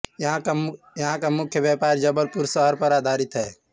यहां का मुख्य व्यापार जबलपुर शहर पर आधारित है